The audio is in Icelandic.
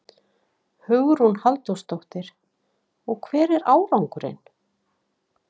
Hugrún Halldórsdóttir: Og hver er árangurinn?